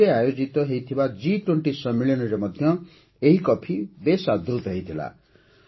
ଦିଲ୍ଲୀରେ ଆୟୋଜିତ ହୋଇଥିବା ଏ ୨୦ ସମ୍ମିଳନୀରେ ମଧ୍ୟ ଏହି କଫି ବେଶ ଆଦୃତ ହୋଇଥିଲା